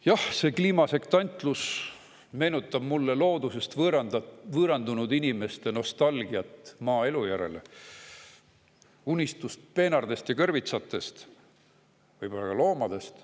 Jah, see kliimasektantlus meenutab mulle loodusest võõrandunud inimeste nostalgiat maaelu järele, unistust peenardest ja kõrvitsatest, võib-olla ka loomadest.